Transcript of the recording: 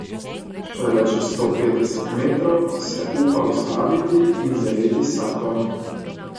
Šele čez sto petdeset metrov se upa ustaviti in zajeti sapo.